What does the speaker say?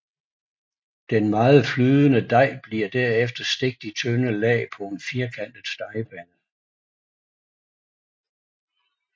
Den meget flydende dej bliver derefter stegt i tynde lag på en firkantet stegepande